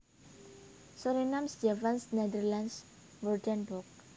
Surinaams Javaans Nederlands Woordenboek